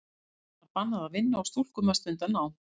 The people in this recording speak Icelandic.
Konum var bannað að vinna og stúlkum að stunda nám.